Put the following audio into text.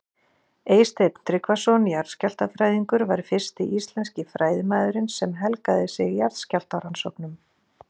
Eysteinn Tryggvason jarðskjálftafræðingur var fyrsti íslenski fræðimaðurinn sem helgaði sig jarðskjálftarannsóknum.